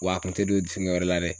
Wa a kun tɛ don fɛngɛ wɛrɛ la dɛ.